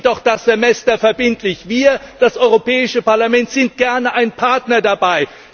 Machen Sie doch das Semester verbindlich! Wir, das Europäische Parlament, sind gerne ein Partner dabei.